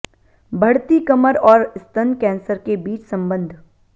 बढ़ती कमर और स्तन कैंसर के बीच है संबंध